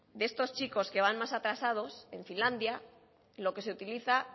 de estos chicos que van más atrasados en finlandia lo que se utiliza